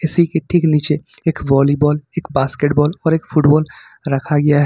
ठीक A C नीचे एक वॉलीबॉल एक बास्केटबॉल और एक फुटबॉल रखा गया है।